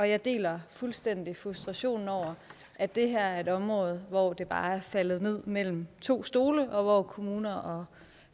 jeg deler fuldstændig frustrationen over at det her er et område hvor det bare er faldet ned mellem to stole og hvor kommuner og